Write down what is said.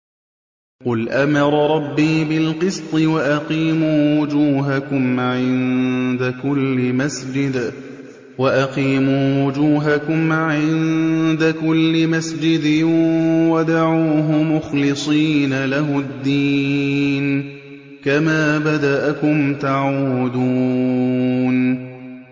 قُلْ أَمَرَ رَبِّي بِالْقِسْطِ ۖ وَأَقِيمُوا وُجُوهَكُمْ عِندَ كُلِّ مَسْجِدٍ وَادْعُوهُ مُخْلِصِينَ لَهُ الدِّينَ ۚ كَمَا بَدَأَكُمْ تَعُودُونَ